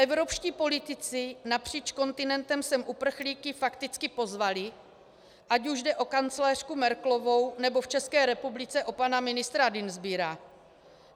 Evropští politici napříč kontinentem sem uprchlíky fakticky pozvali, ať už jde o kancléřku Merkelovou, nebo v České republice o pana ministra Dienstbiera.